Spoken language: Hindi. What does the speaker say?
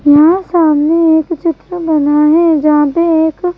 यहां सामने एक चित्र बना है जहां पे एक--